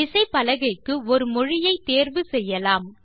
விசைப்பலகைக்கு ஒரு மொழியை தேர்வு செய்ய வேண்டும்